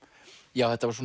já þetta var